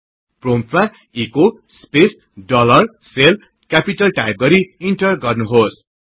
प्रोम्पटमा echo space dollar shell capital टाइपगरि enter गर्नुहोस्